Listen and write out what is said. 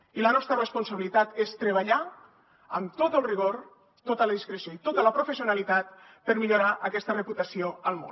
i la nostra responsabilitat és treballar amb tot el rigor tota la discreció i tota la professionalitat per millorar aquesta reputació al món